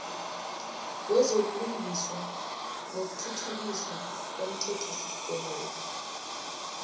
wezobulungiswa nokuthuthukiswa komthethosisekelo